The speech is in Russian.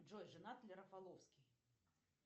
джой женат ли рафаловский